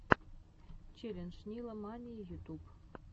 челлендж нила мании ютуб